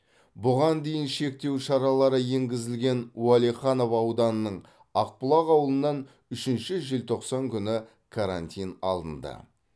бұған дейін шектеу шаралары енгізілген уәлиханов ауданының ақбұлақ ауылынан үшінші желтоқсан күні карантин алынды